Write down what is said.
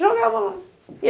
jogava lá.